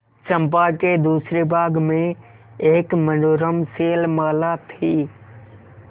चंपा के दूसरे भाग में एक मनोरम शैलमाला थी